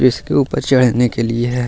इसके ऊपर चढ़ने के लिए है।